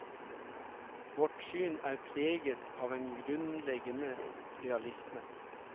Vårt syn er preget av en grunnleggende realisme.